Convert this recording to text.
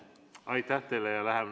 Aitäh teile!